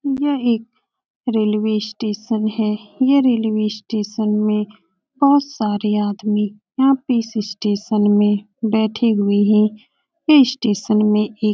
यह एक railway station है। यह रेलवे स्टेशन में बहोत सारे आदमी यहाँ पे इस स्टेशन में बैठे हुए हैं। यह स्टेशन में एक --